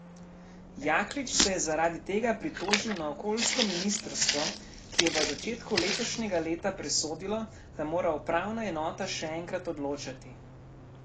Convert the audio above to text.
Jaklič se je zaradi tega pritožil na okoljsko ministrstvo, ki je v začetku letošnjega leta presodilo, da mora upravna enota še enkrat odločati.